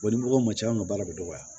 ni mɔgɔw ma ca an ka baara bɛ dɔgɔya